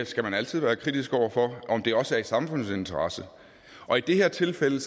skal man altid være kritisk over for om det også er i samfundets interesse og i det her tilfælde